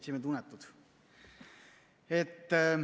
Seltsimehed unetud!